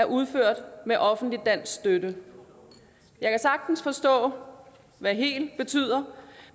udført med offentlig dansk støtte jeg kan sagtens forstå hvad helt betyder